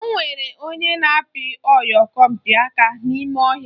Onwere onye na-apị oyompịaka n'ime ọhịa